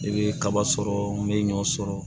I bɛ kaba sɔrɔ n bɛ ɲɔ sɔrɔ